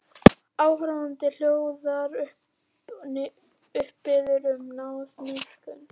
Áhorfandinn hljóðar upp, biður um náð og miskunn.